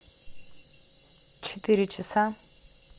четыре часа